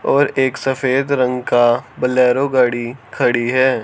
और एक सफेद रंग का बोलेरो गाड़ी खड़ी है।